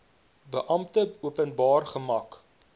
beampte openbaar gemaak